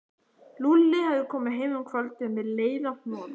Lúlli hafði komið heim um kvöldið með leiðarhnoða.